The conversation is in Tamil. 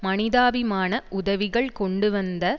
மனிதாபிமான உதவிகள் கொண்டுவந்த